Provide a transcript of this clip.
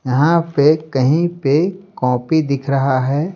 यहां पे कहीं पे कॉपी दिख रहा है।